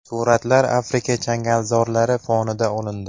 Suratlar Afrika changalzorlari fonida olindi.